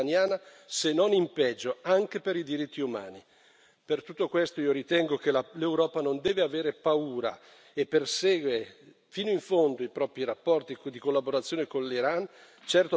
Per tutto questo io ritengo che l'Europa non deve avere paura e deve perseguire fino in fondo i propri rapporti di collaborazione con l'Iran, certo ponendo le questioni che deve porre, ma con forza e determinazione.